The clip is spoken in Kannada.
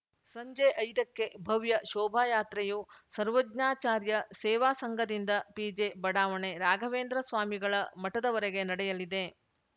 ಸಂಜೆ ಐದ ಕ್ಕೆ ಭವ್ಯ ಶೋಭಾಯಾತ್ರೆಯು ಸರ್ವಜ್ಞಾಚಾರ್ಯ ಸೇವಾ ಸಂಘದಿಂದ ಪಿಜೆ ಬಡಾವಣೆ ರಾಘವೇಂದ್ರ ಸ್ವಾಮಿಗಳ ಮಠದವರೆಗೆ ನಡೆಯಲಿದೆ